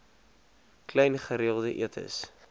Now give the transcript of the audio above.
klein gereelde etes